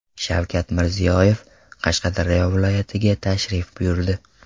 Shavkat Mirziyoyev Qashqadaryo viloyatiga tashrif buyurdi.